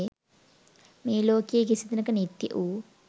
මේ ලෝකයේ කිසිදිනක නිත්‍ය වූ